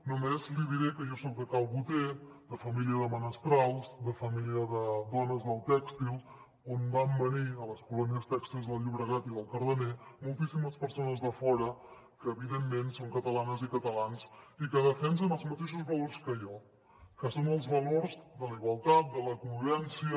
només li diré que jo soc de cal boter de família de menestrals de família de dones del tèxtil on van venir a les colònies tèxtils del llobregat i del cardener moltíssimes persones de fora que evidentment són catalanes i catalans i que defensen els mateixos valors que jo que són els valors de la igualtat de la convivència